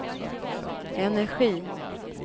energi